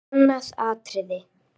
Annað atriði.